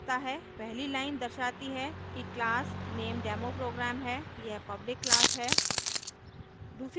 पहली line दर्शाती है कि class नेम demoprogram है और यह पल्बिक class है